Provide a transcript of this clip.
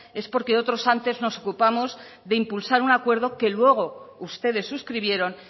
es porque otros antes nos ocupamos de impulsar un acuerdo que luego ustedes suscribieron